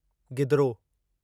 गिदिरो